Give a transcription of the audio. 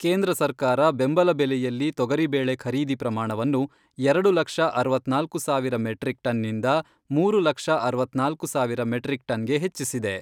ಕೇಂದ್ರ ಸರ್ಕಾರ ಬೆಂಬಲ ಬೆಲೆಯಲ್ಲಿ ತೊಗರಿಬೇಳೆ ಖರೀದಿ ಪ್ರಮಾಣವನ್ನು ಎರಡು ಲಕ್ಷ ಅರವತ್ನಾಲ್ಕು ಸಾವಿರ ಮೆಟ್ರಿಕ್ ಟನ್ನಿಂದ ಮೂರು ಲಕ್ಷ ಅರವತ್ನಾಲ್ಕು ಸಾವಿರ ಮೆಟ್ರಿಕ್ ಟನ್ಗೆ ಹೆಚ್ಚಿಸಿದೆ.